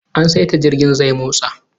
An saita jirgin zai motsa